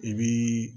I bii